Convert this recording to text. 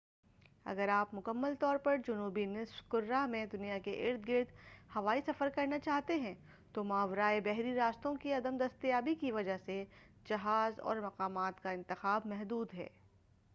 اگر آپ مکمل طور پر جنوبی نصف کرہ میں دنیا کے ارد گرد ہوائی سفر کرنا چاہتے ہیں تو ماورائے بحری راستوں کی عدم دستیابی کی وجہ سے جہاز اور مقامات کا انتخاب محدود ہے